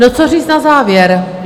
No, co říct na závěr?